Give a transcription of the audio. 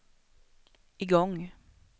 igång